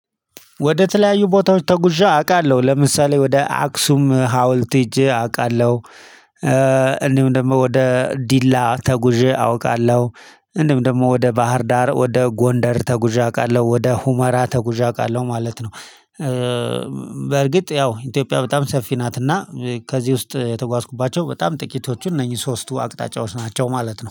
ወደ ተለያዩ ቦታዎች ተጉዣ አውቃለሁ ለምሳሌ ወደ አክሱም ሀውልት ሄጄ አውቃለሁ፤ እንዲሁም ደግሞ ወደ ዲላ ተጉዤ አውቃለሁ፤ እንዲሁም ደግሞ ወደ ባህር ዳር ወደ ጎንደር ተጉዣ አውቃለሁ፤ ወደ ሁመራ ተጉዣ አውቃለሁ ማለት ነው። በርግጥ ያው ኢንቶጵያ በጣም ሰፊ ናት እና ከዚህ ውስጥ የተጓዝኩባቸው በጣም ጥቂቶቹ እነኚህ ሶስቱ አቅጣጫዎች ናቸው ማለት ነው